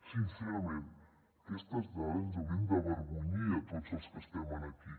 sincerament aquestes dades ens haurien d’avergonyir a tots els que estem aquí